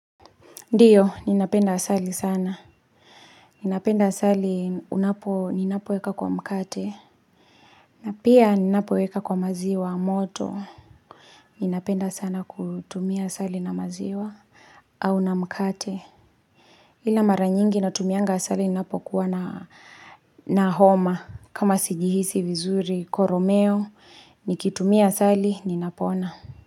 Ndiyo ninapenda asali sana ninapenda asali unapo ninapoweka kwa mkate na pia ninapoweka kwa maziwa moto ninapenda sana kutumia asali na maziwa au na mkate Ila mara nyingi natumianga asali ninapo kuwa na na homa kama sijihisi vizuri koromeo nikitumia asali ninapona.